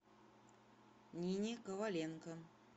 нине коваленко